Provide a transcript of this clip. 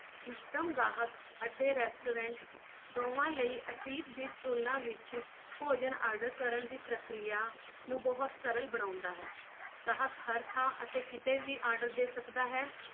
system ਗਾਹਕ ਅਤੇ restaurant ਦੋਵਾਂ ਲਈ ਅਤੀਤ ਦੀ ਤੁਲਨਾ ਵਿੱਚ ਭੋਜਨ order ਕਰਨ ਦੀ ਪ੍ਰਕਿਰਿਆ ਨੂੰ ਬਹੁਤ ਸਰਲ ਬਣਾਉਂਦਾ ਹੈ ਗਾਹਕ ਹਰ ਥਾਂ ਅਤੇ ਕਿਤੇ ਵੀ order ਦੇ ਸਕਦਾ ਹੈ।